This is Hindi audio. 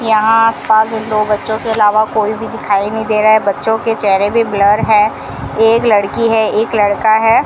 यहां आस पास में दो बच्चों के अलावा कोई भी दिखाई नहीं दे रहा है बच्चों के चेहरे भी ब्लर है एक लड़की है एक लड़का है।